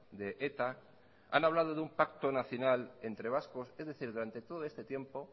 de eta han hablado de un pacto nacional entre vascos es decir durante todo este tiempo